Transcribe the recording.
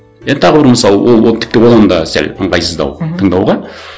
енді тағы бір мысал ол тіпті одан да сәл ыңғайсыздау мхм тыңдауға